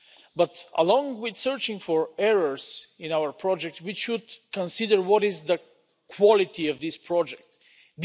But along with searching for errors in our project, we should consider what the quality of this project is.